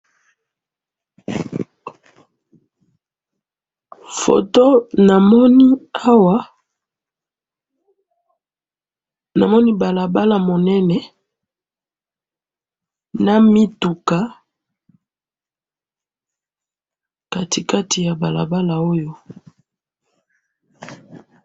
Photo namoni Awa, namoni balabala monene, na mituka katikati ya balabala Oyo.